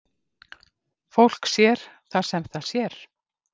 Fólk sér það sem það sér.